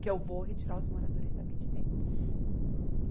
Que eu vou retirar os moradores aqui de dentro.